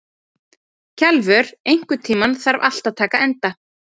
Kjalvör, einhvern tímann þarf allt að taka enda.